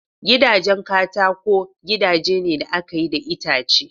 Gidajen katako gidaje ne da aka yi da itace